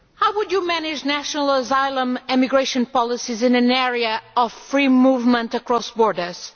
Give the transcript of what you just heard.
How would you manage national asylum and immigration policies in an area of free movement across borders?